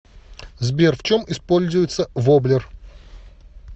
сбер в чем используется воблер